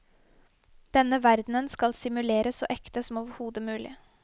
Denne verden skal simuleres så ekte som overhode mulig.